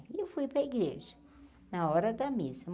E eu fui para a igreja, na hora da missa.